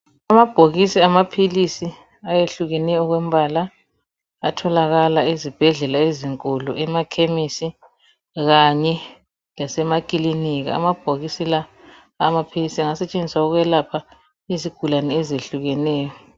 Amabhokisi amaphilisi ayehlukeneyo okombala atholakala ezibhedlela ezinkulu, emakhemesi kanye lasemakilinika. Amabhokisi la awamaphilisi angasetshenziswa ukwelapha izigulane ezehlukeneyo.